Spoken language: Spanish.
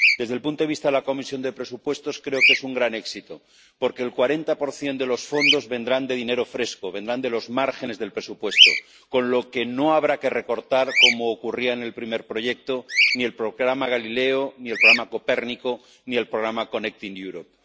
Desde el punto de vista de la Comisión de Presupuestos, creo que es un gran éxito, porque el 40 de los fondos vendrá de dinero fresco, vendrá de los márgenes del presupuesto, con lo que no habrá que recortar ―como ocurría en el primer proyecto― ni el programa Galileo ni el programa Copérnico ni el Mecanismo Conectar Europa.